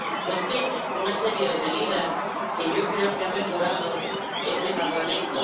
Contiene una serie de medidas que yo creo que ha mejorado este Parlamento.